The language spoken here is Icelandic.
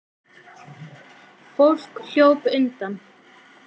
Fólk hljóp undan.